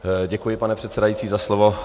Děkuji, pane předsedající, za slovo.